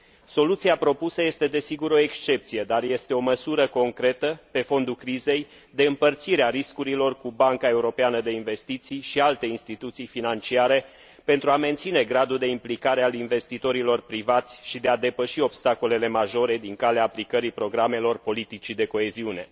Soluția propusă este, desigur, o excepție, dar este o măsură concretă, pe fondul crizei, de împărțire a riscurilor cu Banca Europeană de Investiții și alte instituții financiare, pentru a menține gradul de implicare al investitorilor privați și de a depăși obstacolele majore din calea aplicării programelor politicii de coeziune.